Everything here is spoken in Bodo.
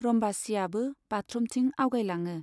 रम्बसीयाबो बाथरुमथिं आगयलाङो।